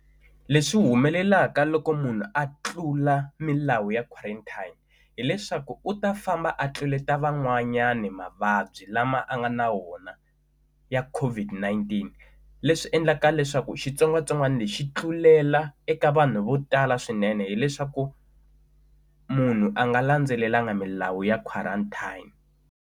Leswi humelelaka loko munhu a tlula milawu ya quarantine hileswaku u ta famba a tluleta van'wanyana mavabyi lama a nga na wona ya COVID-19 leswi endlaka leswaku xitsongwatsongwana lexi xi tlulela eka vanhu vo tala swinene hileswaku munhu a nga landzelelanga milawu ya quarantine.